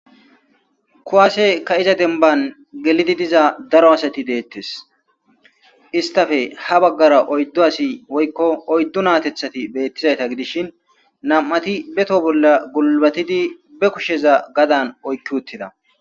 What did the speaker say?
Kuwaase ka'izaa denban gelidi diza daro asati deettees. istappe ha baggara oyddo asi woykko oyddu naati beettizayta gidishin nam'ati beto bolla gulbatidi be kusheza gaxxaan oyiqqi uttidaa.